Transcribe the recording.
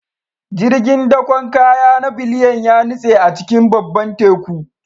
Jirgin dakon kaya na Biliyan ya nutse a cikin babban Teku